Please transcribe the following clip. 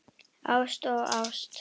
Ást og ást.